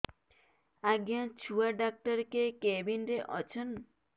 ଆଜ୍ଞା ଛୁଆ ଡାକ୍ତର କେ କେବିନ୍ ରେ ଅଛନ୍